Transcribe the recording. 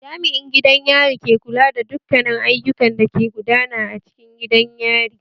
Jami'in gidan yari ke kula da dukkanin ayukan da ke gudana a cikin gidan yari